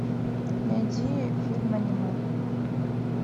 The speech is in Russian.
найди фильм аниме